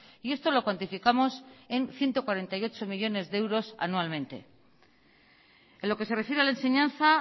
y esto lo cuantificamos en ciento cuarenta y ocho millónes de euros anualmente en lo que se refiere a la enseñanza